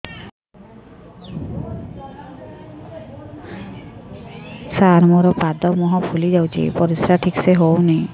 ସାର ମୋରୋ ପାଦ ମୁହଁ ଫୁଲିଯାଉଛି ପରିଶ୍ରା ଠିକ ସେ ହଉନି